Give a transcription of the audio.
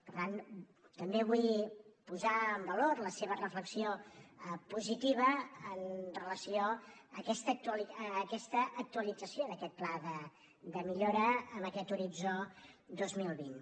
per tant també vull posar en valor la seva reflexió positiva en relació amb aquesta actualització d’aquest pla de millora amb aquest horitzó dos mil vint